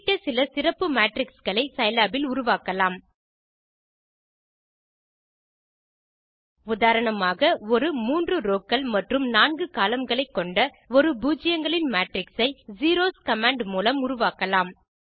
குறிப்பிட்ட சில சிறப்பு matrixகளை சிலாப் இல் உருவாக்கலாம் உதாரணமாக ஒரு 3 rowகள் மற்றும் 4 columnகளை கொண்ட ஒரு பூஜ்ஜியங்களின் மேட்ரிக்ஸ் ஐ செரோஸ் கமாண்ட் மூலம் உருவாக்கலாம்